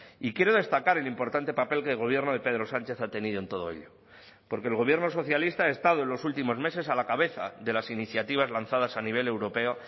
y quiero destacar el importante papel que el gobierno de pedro sánchez ha tenido en todo ello porque el gobierno socialista ha estado en los últimos meses a la cabeza de las iniciativas lanzadas a nivel europeo